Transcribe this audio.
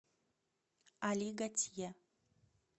али гатье